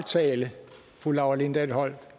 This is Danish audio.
tale fru laura lindahl holdt